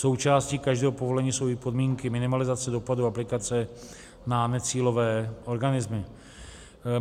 Součástí každého povolení jsou i podmínky minimalizace dopadu aplikace na necílové organismy.